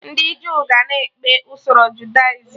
Ndị Jew ga na-ekpe usoro Judaism